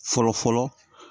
Fɔlɔ fɔlɔ